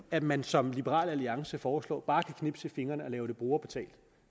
at man som liberal alliance foreslår bare kan knipse med fingrene og lave det brugerbetalt